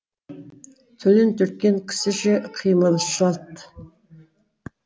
түлен түрткен кісіше қимылы шалт